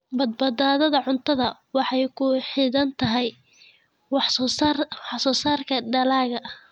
Badbaadada cuntadu waxay ku xidhan tahay wax soo saarka dalagga.